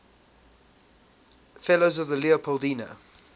fellows of the leopoldina